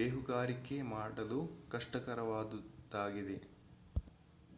ಬೇಹುಗಾರಿಕೆ ಮಾಡಲು ಕಷ್ಟಕರವಾದುದಾಗಿದೆ